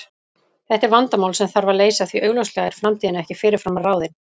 Þetta er vandamál sem þarf að leysa því augljóslega er framtíðin ekki fyrirfram ráðin.